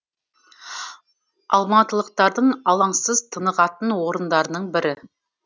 алматылықтардың алаңсыз тынығатын орындарының бірі